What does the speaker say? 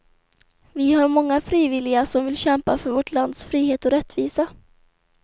Vi har många frivilliga som vill kämpa för vårt lands frihet och rättvisa.